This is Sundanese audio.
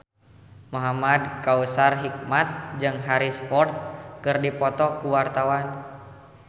Muhamad Kautsar Hikmat jeung Harrison Ford keur dipoto ku wartawan